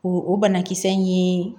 O o banakisɛ in ye